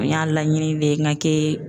N y'a laɲini de n ka kɛ